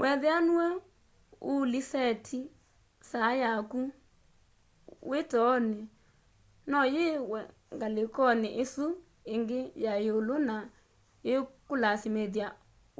weethĩa nũe ũũlĩsetĩ saa yakũ wĩ toonĩ no yiwe ngalĩkonĩ ĩsũ ĩngĩ ya lũmũ na ĩĩkũlasĩmĩthya